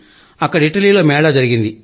అక్కడ ఇటలీలో మేళా జరిగింది